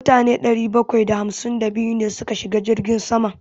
Mutane ɗari bakwai da hamsin da biyu ne suka shiga jirgin saman.